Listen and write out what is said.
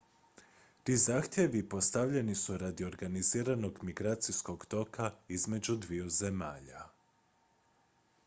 ti zahtjevi postavljeni su radi organiziranog migracijskog toka između dviju zemalja